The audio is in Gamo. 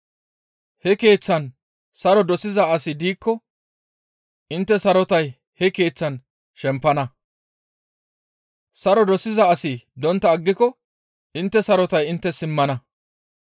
He keeththan saro dosiza asi diikko intte sarotay he keeththaan shempana; saro dosiza asi dontta aggiko intte sarotay inttes simmana.